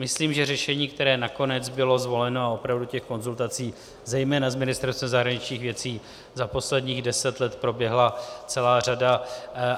Myslím, že řešení, které nakonec bylo zvoleno - a opravdu těch konzultací zejména z Ministerstva zahraničních věcí za posledních deset let proběhla celá řada.